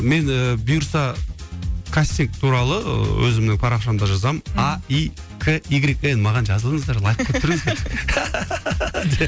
мен і бұйырса кастинг туралы өзімнің парақшамда жазамын а и к игрек н маған жазылыңыздар лайк қойып тұрыңыздар